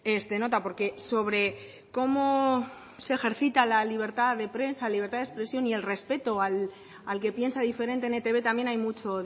es de nota porque sobre cómo se ejercita la libertad de prensa libertad de expresión y el respeto al que piensa diferente en etb también hay mucho